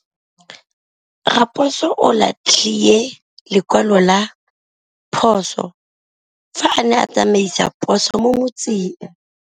Raposo o latlhie lekwalô ka phosô fa a ne a tsamaisa poso mo motseng.